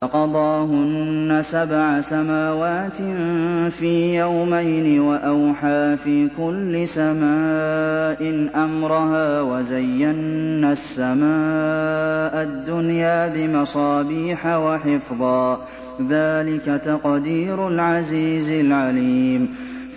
فَقَضَاهُنَّ سَبْعَ سَمَاوَاتٍ فِي يَوْمَيْنِ وَأَوْحَىٰ فِي كُلِّ سَمَاءٍ أَمْرَهَا ۚ وَزَيَّنَّا السَّمَاءَ الدُّنْيَا بِمَصَابِيحَ وَحِفْظًا ۚ ذَٰلِكَ تَقْدِيرُ الْعَزِيزِ الْعَلِيمِ